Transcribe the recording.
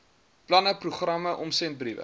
planne programme omsendbriewe